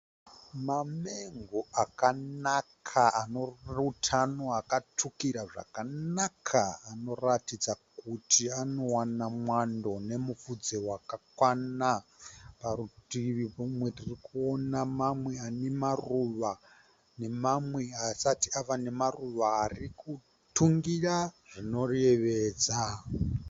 Mamengo akanaka ane utano akatsvukira zvakanaka anoratidza kuti anowana mwando nemupfudze wakakwana. Parutivi pomumwe tirikuona mamwe ane maruva nemamwe asati ava nemaruva arikutungira zvinoyevedza.